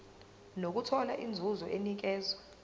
nokuthola inzuzo enikezwa